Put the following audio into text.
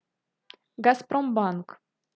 газпромбанк